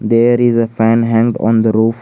There is a fan hanged on the roof.